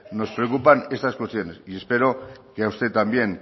nos preocupan esas cuestiones y espero que a usted también